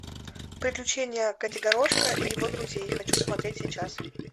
приключения котигорошка и его друзей хочу смотреть сейчас